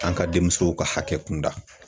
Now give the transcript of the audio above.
An ka denmusow ka hakɛ kunda